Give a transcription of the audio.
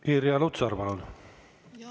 Irja Lutsar, palun!